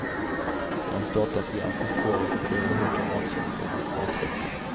I hans dataprogram finns koder för flera hundra matsorter och maträtter.